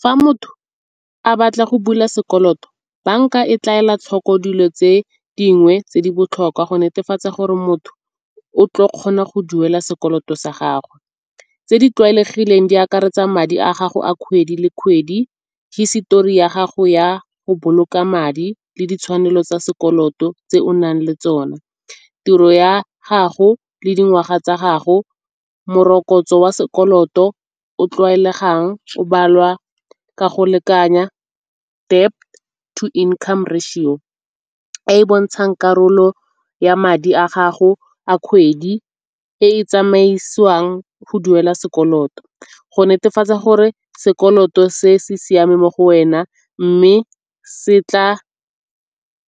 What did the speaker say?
Fa motho a batla go bula sekoloto banka e tla ela tlhoko dilo tse dingwe tse di botlhokwa go netefatsa gore motho o tlo kgona go duela sekoloto sa gagwe. Tse di tlwaelegileng di akaretsa madi a gago a kgwedi le kgwedi, hisetori ya gago ya go boloka madi le ditshwanelo tsa sekoloto tse o nang le tsona. Tiro ya gago le dingwaga tsa gago, morokotso wa sekoloto o tlwaelegang o balwa ka go lekanya debt to income ratio e e bontshang karolo ya madi a gago a kgwedi e e tsamaisiwang go duela sekoloto. Go netefatsa gore sekoloto se se siame mo go wena mme se tla